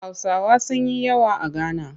Hausawa sun yi yawa a Gana